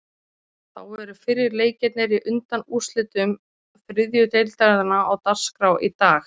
Þá eru fyrri leikirnir í undanúrslitum þriðju deildarinnar á dagskrá í dag.